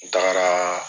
N tagara